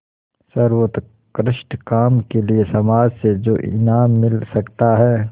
सर्वोत्कृष्ट काम के लिए समाज से जो इनाम मिल सकता है